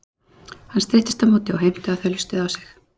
Hann streittist á móti og heimtaði að þau hlustuðu á sig.